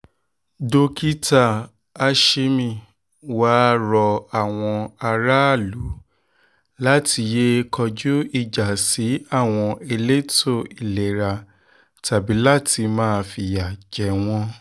dókítà ashimi wàá rọ àwọn aráàlú láti yéé kọjú ìjà sí àwọn elétò ìlera tàbí láti máa fìyà jẹ wọ́n